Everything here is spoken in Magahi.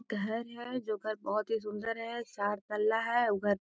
घर है जो घर बहुत ही सुन्दर है चार तल्ला है उ घर --